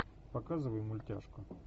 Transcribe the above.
показывай мультяшку